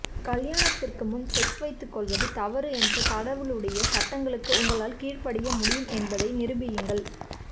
கல்யாணத்திற்கு முன் செக்ஸ் வைத்துக்கொள்வது தவறு என்ற கடவுளுடைய சட்டங்களுக்கு உங்களால் கீழ்ப்படிய முடியும் என்பதை நிரூபியுங்கள்